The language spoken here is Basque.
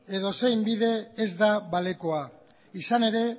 edozein bide ez da balekoa izan ere